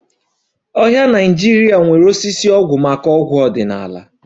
Ọhịa Naịjirịa nwere osisi ọgwụ maka ọgwụ ọdịnala